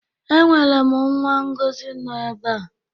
Enwerem nwa ngozi no ebe